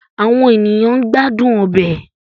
Awọn eniyan n gbadun ọbẹ